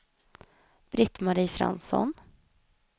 Britt-Marie Fransson